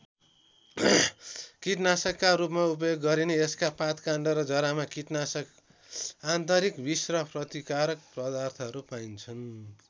कीटनाशकका रूपमा उपयोग गरिने यसका पातकाण्ड र जरामा कीटनाशक आन्तरिक विष र प्रतिकारक पदार्थहरू पाइन्छन्।